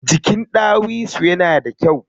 Jikin ɗawisu yana da kyau sosai.